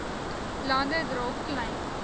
lande dra klein